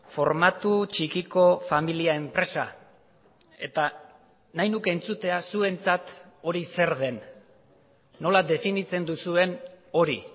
formatu txikiko familia enpresa eta nahi nuke entzutea zuentzat hori zer den nola definitzen duzuen hori